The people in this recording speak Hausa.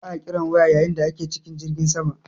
Ba'a kiran waya yayin da ake cikin jirgin sama.